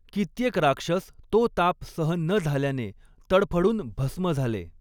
कित्येक राक्षस तो ताप सहन न झाल्याने तडफडून भस्म झाले.